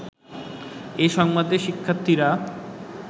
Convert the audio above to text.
এ সংবাদে শিক্ষার্থীরা